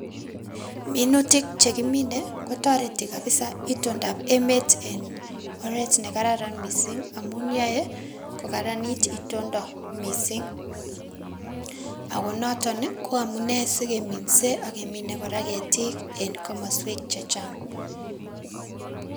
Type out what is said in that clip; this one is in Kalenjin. Minutik chekimine kotoreti kabisa itondab emet en oreet nekararan mising amun yoee kokaranit itonda mising akonoton ko amunee sikeminse akemine ketiik en komoswek chechang.